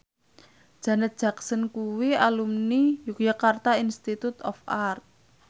Janet Jackson kuwi alumni Yogyakarta Institute of Art